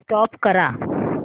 stop करा